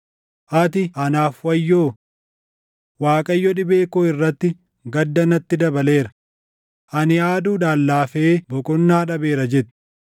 ati, ‘Anaaf wayyoo! Waaqayyo dhibee koo irratti gadda natti dabaleera; ani aaduudhaan laafee boqonnaa dhabeera’ jette.